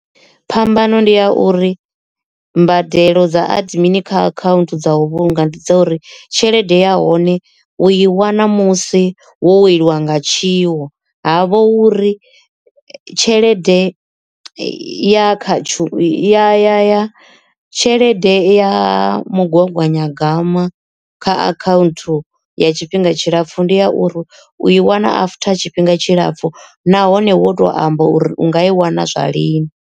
Phambano ndi a uri mbadelo dza admin kha account dza u vhulunga ndi dza uri tshelede ya hone u i wana musi wo weliwa nga tshiwo. Havho uri tshelede ya khatsho ya tshelede ya mugaganyagwama kha akhanthu ya tshifhinga tshilapfu ndi ya uri u i wana after tshifhinga tshilapfu nahone wo to amba uri unga i wana zwa lini.